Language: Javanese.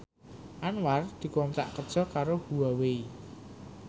Anwar dikontrak kerja karo Huawei